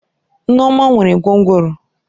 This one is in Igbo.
Neoma nwere gwongworo.